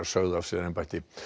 sögðu af sér embætti